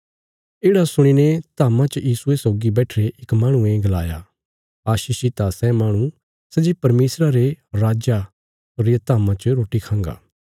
येढ़ा सुणीने धाम्मा च यीशुये सौगी बैठिरे इक माहणुये गलाया आशीषित आ सै माहणु सै जे परमेशरा रे राज्जा रिया धाम्मा च रोटी खांगा